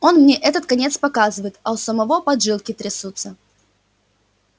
он мне этот конец показывает а у самого поджилки трясутся